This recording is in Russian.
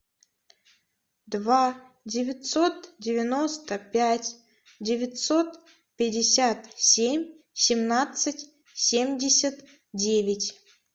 два девятьсот девяносто пять девятьсот пятьдесят семь семнадцать семьдесят девять